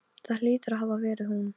Það hlýtur að hafa verið hún.